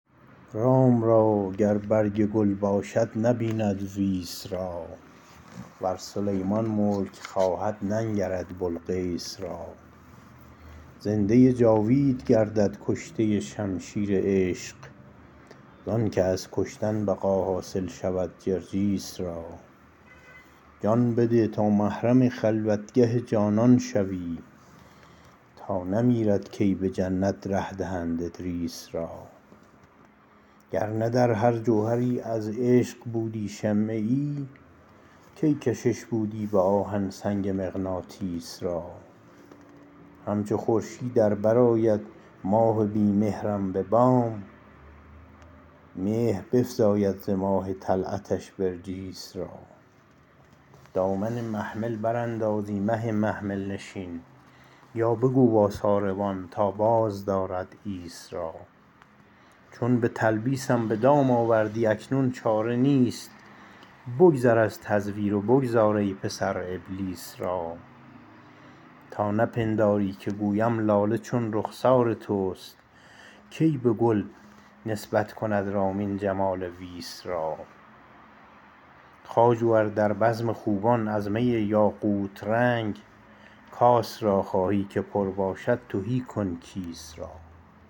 رام را گر برگ گل باشد نبیند ویس را ور سلیمان ملک خواهد ننگرد بلقیس را زنده ی جاوید گردد کشته شمشیر عشق زانکه از کشتن بقا حاصل شود جرجیس را جان بده تا محرم خلوتگه جانان شوی تا نمیرد کی بجنت ره دهند ادریس را گرنه در هر جوهری از عشق بودی شمه یی کی کشش بودی بآهن سنگ مغناطیس را همچو خورشید ار برآید ماه بی مهرم ببام مهر بفزاید ز ماه طلعتش برجیس را دامن محمل برانداز ای مه محمل نشین یا بگو با ساربان تا باز دارد عیس را چون بتلبیسم بدام آوردی اکنون چاره نیست بگذر از تزویر و بگذار ای پسر ابلیس را تا نپنداری که گویم لاله چون رخسار تست کی بگل نسبت کند رامین جمال ویس را خواجو ار در بزم خوبان از می یاقوت رنگ کاس را خواهی که پر باشد تهی کن کیس را